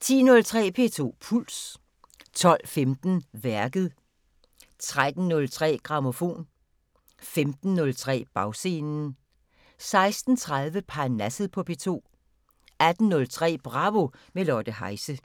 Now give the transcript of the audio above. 10:03: P2 Puls 12:15: Værket 13:03: Grammofon 15:03: Bagscenen 16:30: Parnasset på P2 18:03: Bravo – med Lotte Heise